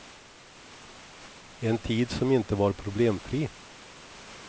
En tid som inte var problemfri.